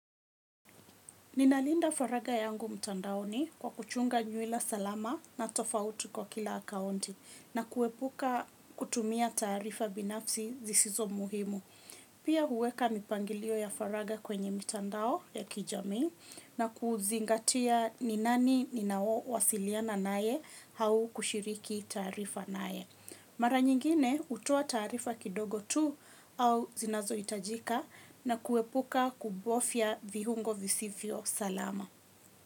Ninalinda faraga yangu mtandaoni kwa kuchunga nywila salama na tofauti kwa kila akaunti na kuepuka kutumia taarifa binafsi zisizo muhimu. Pia huweka mipangilio ya faraga kwenye mitandao ya kijamii na kuzingatia ni nani ninaowasiliana naye au kushiriki taarifa naye. Mara nyingine hutoa taarifa kidogo tu au zinazohitajika na kuepuka kubofya viungo visivyo salama.